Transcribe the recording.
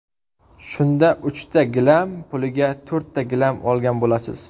Shunda uchta gilam puliga to‘rtta gilam olgan bo‘lasiz.